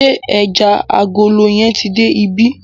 Ṣé ẹjà alágolo yẹn ti dé ibí?